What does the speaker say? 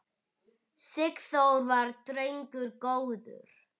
Sigþór var drengur góður.